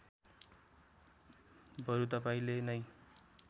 बरु तपाईँले नै